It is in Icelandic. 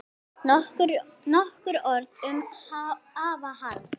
Nokkur orð um afa Hall.